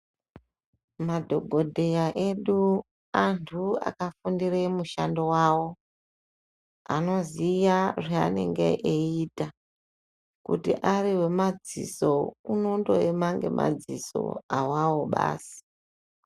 Madhogodheya edu anthu akafundire mushando yavo, anoziya zvaanenge eiita, kuti ari wemadziso unondoema ngemadziso awawo basi.